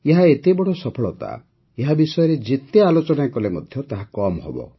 ଏହା ଏତେ ବଡ଼ ସଫଳତା ଯେ ଏହା ବିଷୟରେ ଯେତେ ଆଲୋଚନା କଲେ ମଧ୍ୟ ତାହା କମ୍ ହେବ